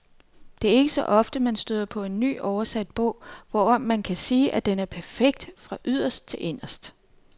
Det er ikke så ofte, man støder på en ny, oversat bog, hvorom man kan sige, at den er perfekt fra yderst til inderst.